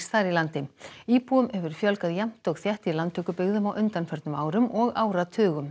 þar í landi íbúum hefur fjölgað jafnt og þétt í landtökubyggðum á undanförnum árum og áratugum